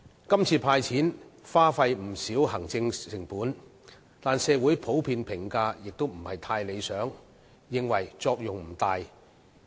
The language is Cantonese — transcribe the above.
今次"派錢"耗費了不少行政成本，但社會普遍的評價並不理想，認為作用不大。